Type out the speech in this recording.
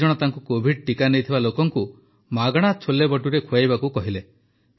ଦୁଇଜଣ ତାଙ୍କୁ କୋଭିଡ଼ ଟିକା ନେଇଥିବା ଲୋକଙ୍କୁ ମାଗଣା ଛୋଲେଭଟୁରେ ଖୁଆଇବାକୁ କହିଲେ